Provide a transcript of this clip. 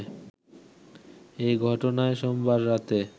এই ঘটনায় সোমবার রাতে